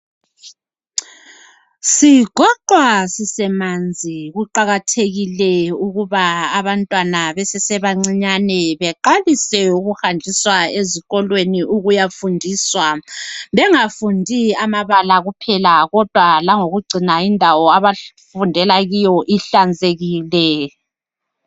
Sigoqwa sisemanzi kuqakathekile ukuba abantwana besesebancinyane beqalise ukuhanjiswa ezikolweni ukuyafundiswa bengafundi amabala kuphela kodwa langokugcina indawo abafundela kiyo ihlanzekile.